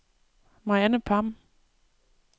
Mariann Pham